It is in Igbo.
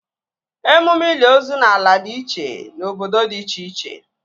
Emume ili ozu n'ala dị iche n' obodo dị iche iche